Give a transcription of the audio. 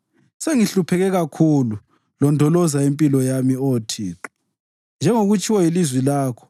Sengihlupheke kakhulu; londoloza impilo yami, Oh Thixo njengokutshiwo yilizwi lakho.